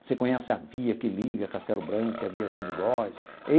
Você conhece a via que liga Castello Branco e a via João de Góes?